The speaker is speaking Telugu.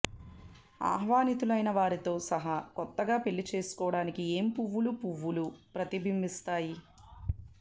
ఆహ్వానితులైన వారితో సహా కొత్తగా పెళ్లి చేసుకోవడానికి ఏ పువ్వులు పువ్వులు ప్రతిబింబిస్తాయి